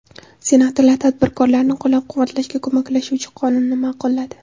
Senatorlar tadbirkorlarni qo‘llab-quvvatlashga ko‘maklashuvchi qonunni ma’qulladi.